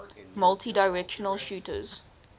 multidirectional shooters